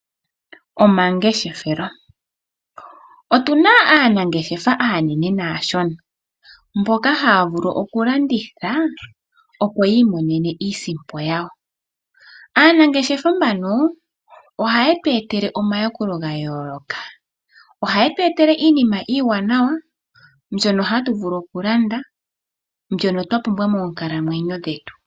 Omangeshefelo, otuna aanangeshefa aanene naashona mboka haya vulu okulanditha opo yi imonene iisimpo yawo. Aanangeshefa mbano ohaye tu etele omayakulo ga yooloka ohaye tu etele iinima iiwanawa mbyono hatu vulu okulanda mbyono twa pumbwa moonkala mwenyo dhetu.